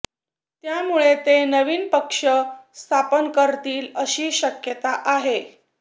त्यामुळे ते नवीन पक्ष स्थापन करतील अशी शक्यता आहे